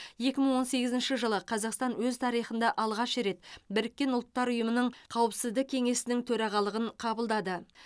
екі мың он сегізінші жылы қазақстан өз тарихында алғаш рет біріккен ұлттар ұйымының қауіпсіздік кеңесінің төрағалығын қабылдады